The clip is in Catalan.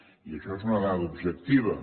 i això és una dada objectiva